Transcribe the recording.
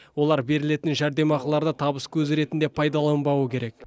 олар берілетін жәрдемақыларды табыс көзі ретінде пайдаланбауы керек